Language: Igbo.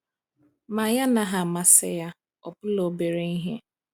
Ma anyị anaghị amasị ya, ọbụla obere ihe.